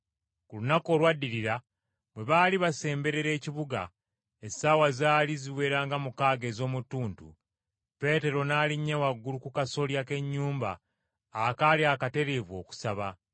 Ku lunaku olwaddirira bwe baali basemberera ekibuga, essaawa zaali ziwera nga mukaaga ez’omu ttuntu, Peetero n’alinnya waggulu ku kasolya k’ennyumba akaali akatereevu, okusaba.